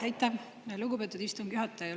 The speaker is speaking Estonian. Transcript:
Aitäh, lugupeetud istungi juhataja!